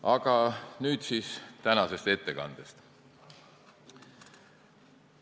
Aga nüüd siis tänane ettekanne.